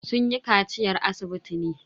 Sun yi kaciyar asibiti ne.